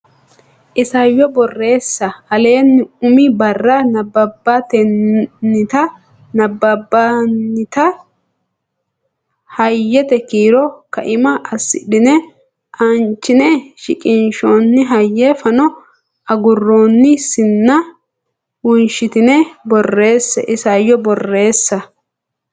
Isayyo Borreessa Aleenni umi barra nabbabbinita hayyete kiiro kaima assidhine aanchine shiqinshoonni hayye fano agurroonni sinna wonshitine borreesse Isayyo Borreessa.